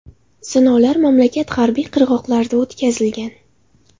Sinovlar mamlakat g‘arbiy qirg‘oqlarida o‘tkazilgan.